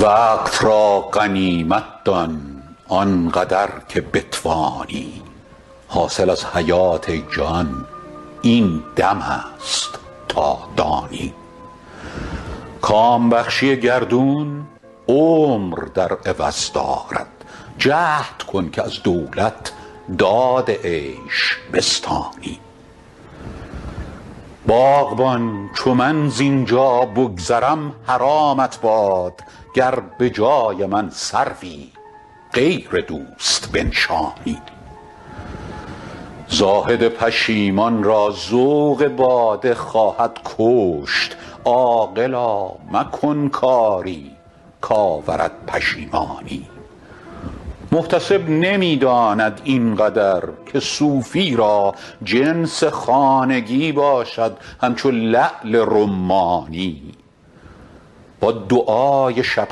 وقت را غنیمت دان آن قدر که بتوانی حاصل از حیات ای جان این دم است تا دانی کام بخشی گردون عمر در عوض دارد جهد کن که از دولت داد عیش بستانی باغبان چو من زین جا بگذرم حرامت باد گر به جای من سروی غیر دوست بنشانی زاهد پشیمان را ذوق باده خواهد کشت عاقلا مکن کاری کآورد پشیمانی محتسب نمی داند این قدر که صوفی را جنس خانگی باشد همچو لعل رمانی با دعای شب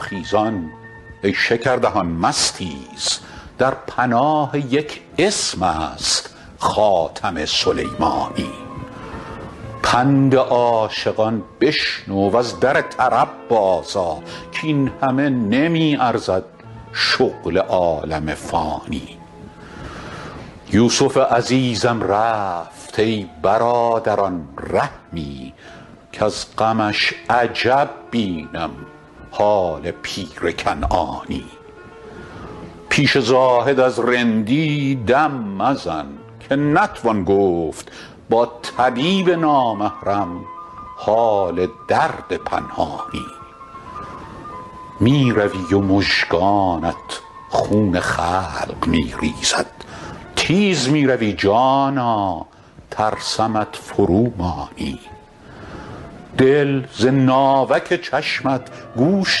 خیزان ای شکردهان مستیز در پناه یک اسم است خاتم سلیمانی پند عاشقان بشنو و از در طرب بازآ کاین همه نمی ارزد شغل عالم فانی یوسف عزیزم رفت ای برادران رحمی کز غمش عجب بینم حال پیر کنعانی پیش زاهد از رندی دم مزن که نتوان گفت با طبیب نامحرم حال درد پنهانی می روی و مژگانت خون خلق می ریزد تیز می روی جانا ترسمت فرومانی دل ز ناوک چشمت گوش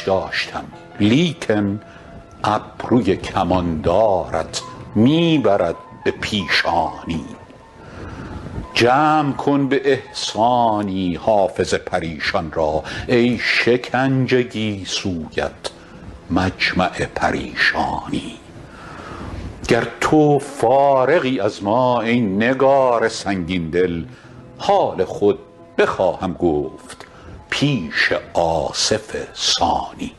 داشتم لیکن ابروی کماندارت می برد به پیشانی جمع کن به احسانی حافظ پریشان را ای شکنج گیسویت مجمع پریشانی گر تو فارغی از ما ای نگار سنگین دل حال خود بخواهم گفت پیش آصف ثانی